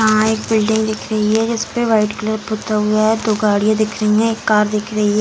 यहां एक बिल्डिंग दिख रही है जिसपे व्हाइट कलर पुता हुआ है दो गाड़िया दिख रही है एक कार दिख रही है।